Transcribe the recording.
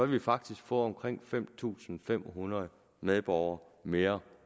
vi faktisk få omkring fem tusind fem hundrede medborgere mere